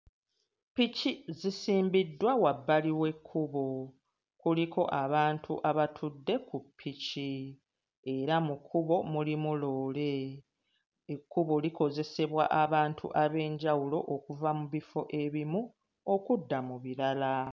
Ppiki zisimbiddwa wabbali w'ekkubo, kuliko abantu abatudde ku ppiki era mu kkubo mulimu loole, ekkubo likozesebwa abantu ab'enjawulo okuva mu bifo ebimu okudda mu birala.